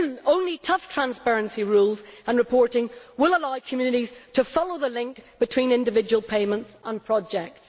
Only tough transparency rules and reporting will allow communities to follow the link between individual payments and projects.